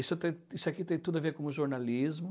Isso tem isso aqui tem tudo a ver com o jornalismo.